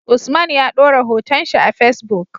Usman ya dora hoton shi a Facebook